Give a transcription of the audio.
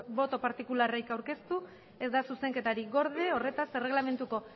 boto partikularrik aurkeztu ezta zuzenketarik gorde horretaz erreglamanduko